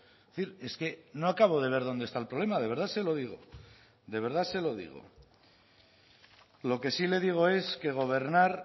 es decir es que no acabo de ver dónde está el problema de verdad se lo digo de verdad se lo digo lo que sí le digo es que gobernar